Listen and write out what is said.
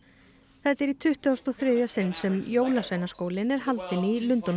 þetta er í tuttugasta og þriðja sinn sem jólasveinaskólinn er haldinn í Lundúnum